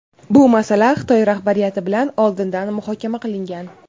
bu masala Xitoy rahbariyati bilan oldindan muhokama qilingan.